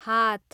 हात